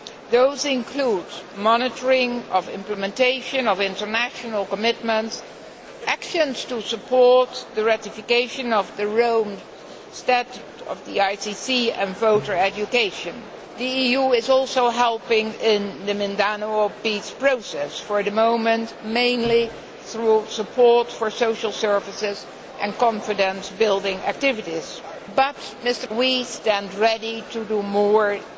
These include monitoring of the implementation of international commitments, actions to support the ratification of the Rome Statute of the ICC and voter education. The EU is also helping in the Mindanao peace process for the moment, mainly through support for social services and confidence building activities, but we stand ready to do more if the process advances.